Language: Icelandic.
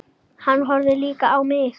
Hann horfði líka á mig.